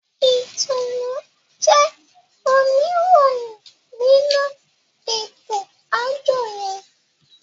Itunu jé oníròyìn nínú eto-ajọ yẹn.